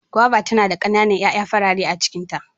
Gwaiba tana da kana nan ƴaƴa farare a cikin ta.